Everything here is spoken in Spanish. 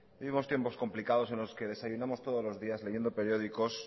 vivimos tiempos complicados en los que desayunamos todos los días leyendo periódicos